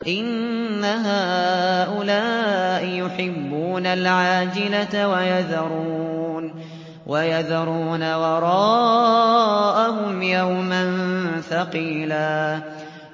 إِنَّ هَٰؤُلَاءِ يُحِبُّونَ الْعَاجِلَةَ وَيَذَرُونَ وَرَاءَهُمْ يَوْمًا ثَقِيلًا